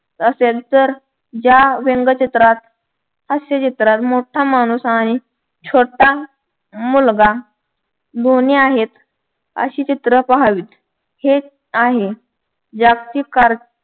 असेल तर ज्या व्यंगचित्रात हास्यचित्रांत मोठा माणूस आणि छोटा मुलगा दोन्ही आहेत अशी चित्रे पाहावीत हेच आहे जागतिक